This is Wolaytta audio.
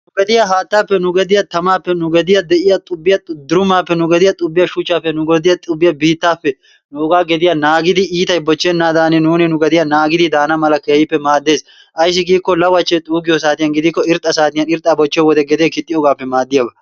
Nu gediya haattaappe nu gediya tamaappe nu gediya de"iya xubbiya durumaappe nu gediya xubbiya shuchchaappe nu gediya xubbiya biittaappe nugaa gediya naagidi iitay bochchennaadani nuuni nu gediya naagidi daana mala keehippe maaddees ayssi giikko lawachchee xuuggiyo saatiyan gidikko irxxa saatiyan irxxa bochchiyo wode gedee kixxiyobaappe maaddiyaba.